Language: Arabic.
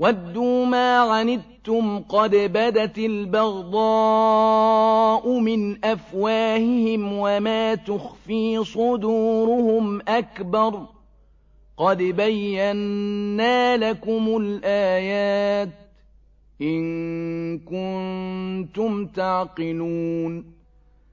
وَدُّوا مَا عَنِتُّمْ قَدْ بَدَتِ الْبَغْضَاءُ مِنْ أَفْوَاهِهِمْ وَمَا تُخْفِي صُدُورُهُمْ أَكْبَرُ ۚ قَدْ بَيَّنَّا لَكُمُ الْآيَاتِ ۖ إِن كُنتُمْ تَعْقِلُونَ